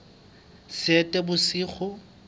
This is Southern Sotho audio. seetebosigo